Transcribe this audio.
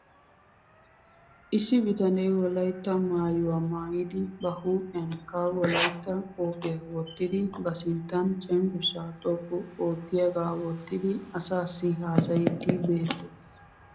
Issi bitanee wolaytta maayuwaa maayidi ba huuphiyankke wolaytta qophiyaa wottidi ba sinttan cenggursaa xoqqu oottiyaagaa wottidi asaassi haasayiiddi beetes .